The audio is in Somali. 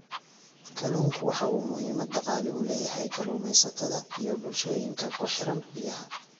Kalluunku waxa uu muhiimad dhaqaale u leeyahay kalluumaysatada iyo bulshooyinka ku xeeran biyaha.